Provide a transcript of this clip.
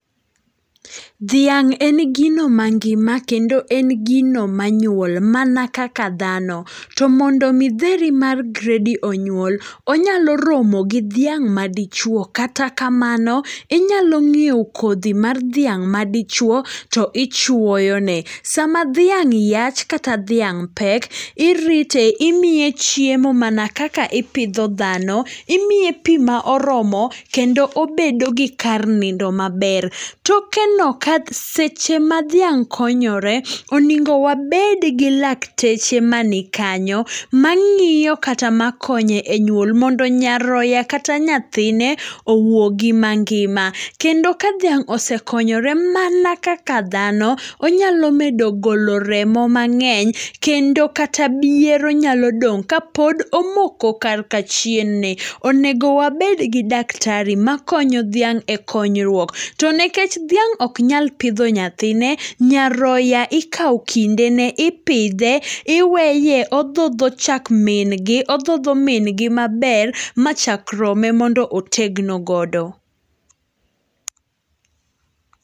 Dhiang' en gino mangima, kendo en gino manyuol mana kaka dhano. To mondomi dheri mar gredi onyuol, onyalo romogi dhiang' madichuo, kata kamano inyalo ng'ieo kothi mar dhiang' madichuo to ichuoyone. Sama dhiang' yach, kata dhiang' pek, irite, imiye chiemo mana kaka ipidho dhano. Imiye pii maoromo, kendo obedogi kar nindo maber. Tokeno kaseche madhiang' konyore oningo wabedgi lakteche manikanyo, mang'iyo kata makonyo e nyuol, mondo nyaroya, kata nyathine owuogi mangima. Kendo ka dhiang' osekonyore mana kaka dhano, onyalo medo golo remo mang'eny, kendo kata biero nyalo dong' kapod omoko karka chien ne. Onego wabedgi daktari makonyo dhiang' e konyruok. To nekech dhiang' oknyal pidho nyathine, nyaroya ikao kindene, ipidhe, iweye othotho chak min gi, othotho min gi maber machak rome mondo otegno godo.